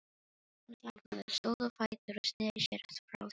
Hún þagnaði, stóð á fætur og sneri sér frá þeim.